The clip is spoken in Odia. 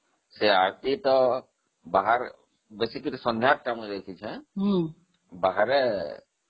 ସେ ଆରତୀ ତ ବାହାରେ ସନ୍ଧ୍ୟା time ରେ